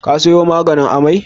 Ka sayo maganin amai?